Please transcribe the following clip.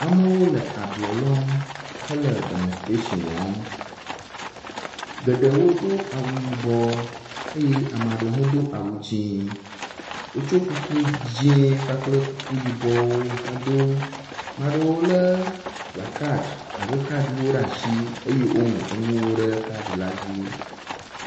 Amewo le ablɔ lɔm hele demonstration wɔm. Geɖewo do awu yibɔ eye ame aɖewo hã do awu dzi. wotso kuku dzi kpakple kuku yibɔwo hedo. Ame aɖewo le kplakaɖiwo alo kaɖiwo ɖe asi eye woŋlɔ nuwo ɖe kaɖi la dzi.